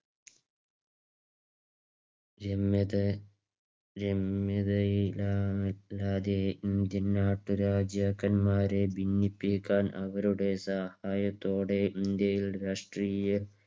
എന്നത ഇന്ത്യൻനാട്ടുരാജാക്കന്മാരെ ഭിന്നിപ്പിക്കാൻ അവരുടെ സഹായത്തോടെ ഇന്ത്യയിൽ രാഷ്ട്രീയ